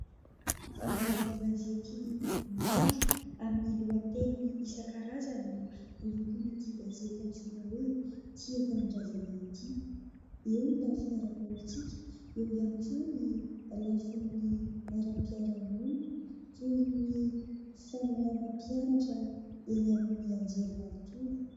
Vaovao an-gazety maro amin'ny lohateniny isankarazany no avoakan'ity gazety antsoina hoe"Tia Tanindrazana" ity, eo ny lafiny ara-politika, eo ihany koa ny lafiny aram-piarahamonina toy ny famoahana mpianatra eny amin'ny anjerimanontolo.